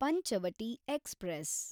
Panchavati express